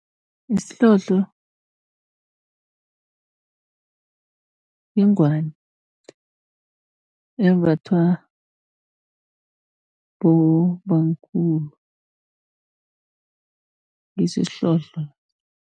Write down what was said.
Isihlohlo yingwani embathwa bobamkhulu ngiso isihlohlo.